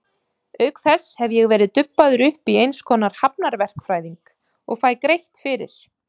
Auk þess hef ég verið dubbaður upp í eins konar hafnarverkfræðing og fæ greitt fyrir.